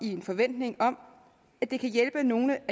i en forventning om at det kan hjælpe nogle